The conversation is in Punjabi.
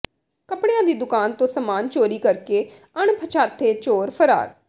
ਕੱਪੜਿਆਂ ਦੀ ਦੁਕਾਨ ਤੋਂ ਸਾਮਾਨ ਚੋਰੀ ਕਰਕੇ ਅਣਪਛਾਤੇ ਚੋਰ ਫਰਾਰ